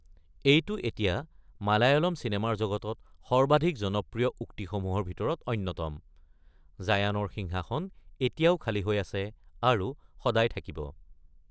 এইটো এতিয়া মালয়ালম চিনেমাৰ জগতত সৰ্বাধিক জনপ্ৰিয় উক্তিসমূহৰ ভিতৰত অন্যতম- "জায়ানৰ সিংহাসন এতিয়াও খালি হৈ আছে আৰু সদায় থাকিব।"